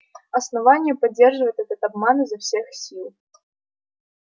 основание поддерживает этот обман изо всех сил